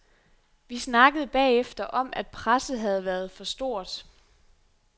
Vi snakkede bagefter om, at presset havde været for stort.